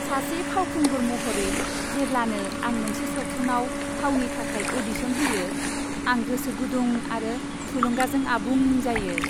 सासे फावखुंगुर महरै, जेब्लानो आं मोनसे सावथुनाव फावनि थाखाय अ'डिशन होयो, आं गोसोगुदुं आरो थुलुंगाजों आबुं जायो।